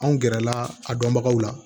Anw gɛrɛ la a dɔnbagaw la